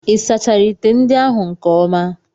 Ị sachara ite ndị ahụ nke ọma?